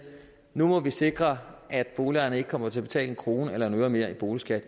nu må vi sikre at boligejerne ikke kommer til at betale en krone eller en øre mere i boligskat